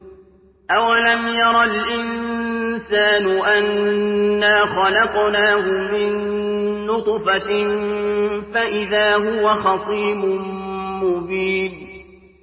أَوَلَمْ يَرَ الْإِنسَانُ أَنَّا خَلَقْنَاهُ مِن نُّطْفَةٍ فَإِذَا هُوَ خَصِيمٌ مُّبِينٌ